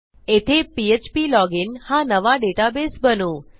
येथे PHP login हा नवा डेटाबेस बनवू